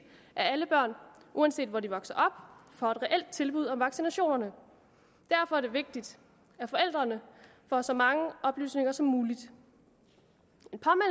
at alle børn uanset hvor de vokser op får et reelt tilbud om vaccinationerne derfor er det vigtigt at forældrene får så mange oplysninger som muligt